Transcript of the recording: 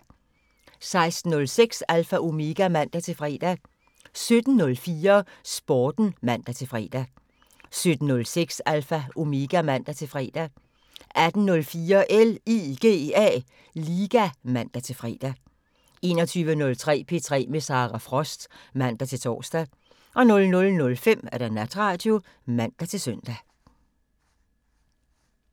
16:06: Alpha Omega (man-fre) 17:04: Sporten (man-fre) 17:06: Alpha Omega (man-fre) 18:04: LIGA (man-fre) 21:03: P3 med Sara Frost (man-tor) 00:05: Natradio (man-søn)